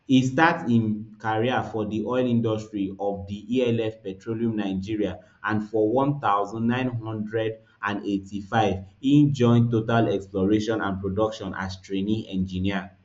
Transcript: e start im career for di oil industry of di elf petroleum nigeria and for one thousand, nine hundred and eighty-five e join total exploration and production as trainee engineer